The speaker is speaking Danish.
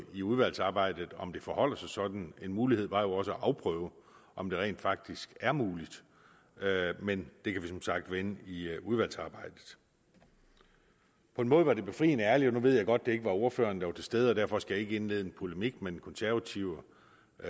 i udvalgsarbejdet om det forholder sig sådan en mulighed var jo også at afprøve om det rent faktisk er muligt men det kan vi som sagt vende i udvalgsarbejdet på en måde var det befriende ærligt og nu ved jeg godt at det ikke var ordføreren der var til stede og derfor skal jeg ikke indlede en polemik med den konservative